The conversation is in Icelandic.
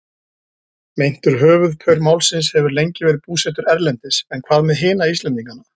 Meintur höfuðpaur málsins hefur lengi verið búsettur erlendis en hvað með hina Íslendingana?